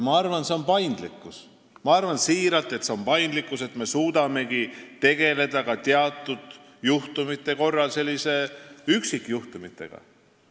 Ma arvan siiralt, et meie trumbiks on paindlikkus – see, et me suudame teatud juhtudel tegeleda ka üksikjuhtumitega.